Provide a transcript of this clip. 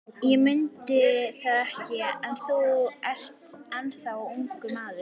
Ég mundi það ekki, að þú ert ennþá ungur maður.